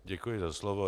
Děkuji za slovo.